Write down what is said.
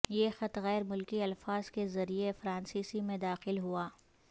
یہ خط غیر ملکی الفاظ کے ذریعے فرانسیسی میں داخل ہوا